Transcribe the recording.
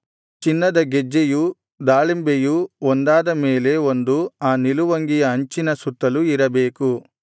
ಚಿನ್ನದ ಗೆಜ್ಜೆಯೂ ದಾಳಿಂಬೆಯೂ ಒಂದಾದ ಮೇಲೆ ಒಂದು ಆ ನಿಲುವಂಗಿಯ ಅಂಚಿನ ಸುತ್ತಲೂ ಇರಬೇಕು